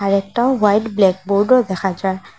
একটাও হোয়াইট ব্ল্যাকবোর্ডও দেখা যায়।